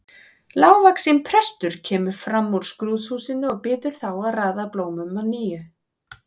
Lágvaxinn prestur kemur fram úr skrúðhúsinu og biður þá að raða blómunum að nýju.